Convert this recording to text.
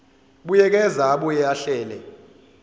buyekeza abuye ahlele